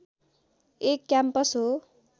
एक क्याम्पस हो